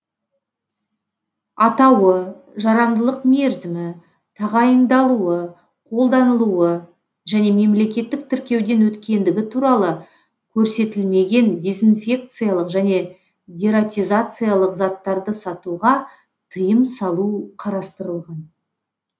атауы жарамдылық мерзімі тағайындалуы қолданылуы және мемлекеттік тіркеуден өткендігі туралы көрсетілмеген дезинфекциялық және дератизациялық заттарды сатуға тыйым салу қарастырылған